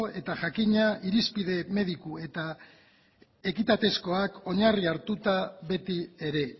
eta jakina irizpide mediku eta ekitatezkoak oinarri hartuta beti ere